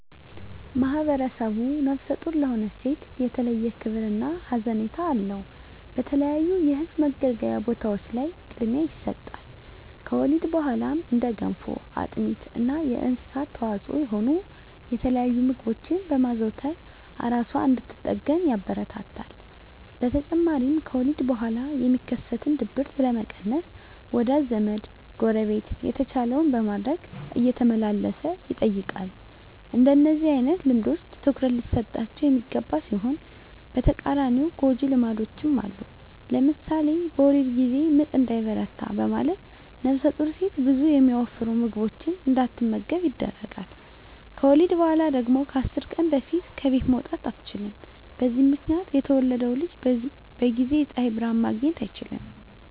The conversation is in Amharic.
ማህብረሰቡ ነፍሰ ጡር ለሆነች ሴት የተለየ ክብር እና ሀዘኔታ አለው። በተለያዩ የህዝብ መገልገያ ቦታዎች ላይ ቅድሚያ ይሰጣል። ከወሊድ በኋላም እንደ ገንፎ፣ አጥሚት እና የእንስሳት ተዋፅዖ የሆኑ የተለያዩ ምግቦችን በማዘውተር እራሷን እንድትጠግን ያበረታታል። በተጨማሪም ከወሊድ በኋላ የሚከሰትን ድብርት ለመቀነስ ወዳጅ ዘመ፣ ጎረቤት የተቻለውን በማድረግ እየተመላለሰ ይጠይቃል። እንደነዚህ አይነት ልምዶች ትኩረት ሊሰጣቸው የሚገባ ሲሆን በተቃራኒው ጎጅ ልማዶችም አሉ። ለምሳሌ በወሊድ ጊዜ ምጥ እንዳይበረታ በማለት ነፍሰጡር ሴት ብዙ የሚያወፍሩ ምግቦችን እንዳትመገብ ይደረጋል። ከወሊድ በኋላ ደግሞ ከ10 ቀን በፊት ከቤት መውጣት አትችልም። በዚህ ምክንያት የተወለደው ልጅ በጊዜ የፀሀይ ብርሀን ማግኘት አይችልም።